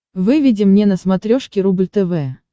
выведи мне на смотрешке рубль тв